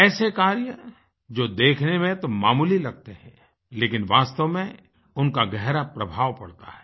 ऐसे कार्य जो देखने में तो मामूली लगते हैं लेकिन वास्तव में उनका गहरा प्रभाव पड़ता है